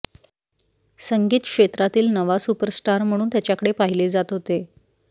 संगीत क्षेत्रातील नवा सुपरस्टार म्हणून त्याच्याकडे पाहिले जात होते